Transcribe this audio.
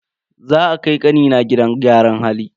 Za a kai kanina gidan gyaran hali.